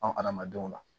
An adamadenw na